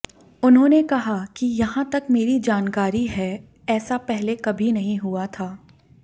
उन्होंने कहा कि यहां तक मेरी जानकारी है ऐसा पहले कभी नहीं हुआ था